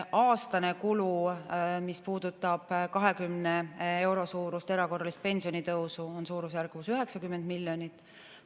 Aastane kulu, mis puudutab 20 euro suurust erakorralist pensionitõusu, on suurusjärgus 90 miljonit.